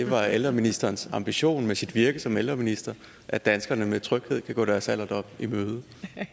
var ældreministerens ambition med sit virke som ældreminister at danskerne med tryghed kan gå deres alderdom i møde